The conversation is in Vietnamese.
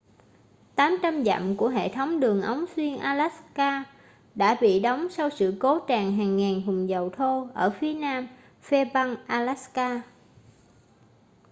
800 dặm của hệ thống đường ống xuyên alaska đã bị đóng sau sự cố tràn hàng ngàn thùng dầu thô ở phía nam fairbanks alaska